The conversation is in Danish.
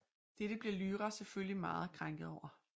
Dette bliver Lyra selvfølgelig meget krænket over